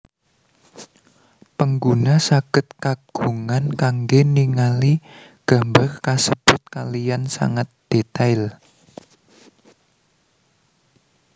Pengguna sagèd kagungan kanggè ningali gambar kasèbut kaliyan sangat dètail